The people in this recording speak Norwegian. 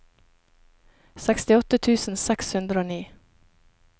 sekstiåtte tusen seks hundre og ni